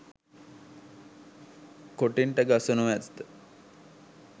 කොටින්ට ගසනු ඇත.